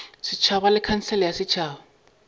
setšhaba le khansele ya setšhaba